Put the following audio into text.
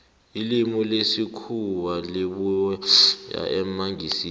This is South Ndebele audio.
ilimi lesikhuwa libuya emangisini